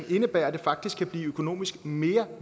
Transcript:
indebære at det faktisk kan blive økonomisk mere